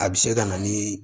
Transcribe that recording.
A bɛ se ka na ni